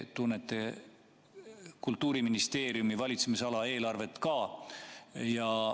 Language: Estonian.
Te tunnete Kultuuriministeeriumi valitsemisala eelarvet ka.